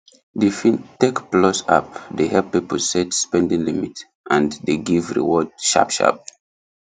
the fintechplus app dey help people set spending limit and dey give reward sharpsharp